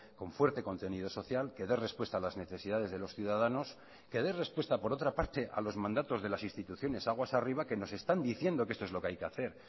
con fuerte contenido social que dé respuesta a las necesidades de los ciudadanos que dé respuesta por otra parte a los mandatos de las instituciones aguas arriba que nos están diciendo que esto es lo que hay que hacer